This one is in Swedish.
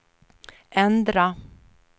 ändra